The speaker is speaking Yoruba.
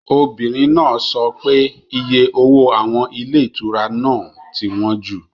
Obìnrin náà sọ pé iye owó àwọn ilé ìtura náà ti wọ́n jù.